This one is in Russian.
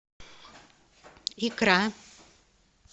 икра